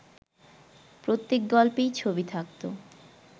প্রত্যেক গল্পেই ছবি থাকত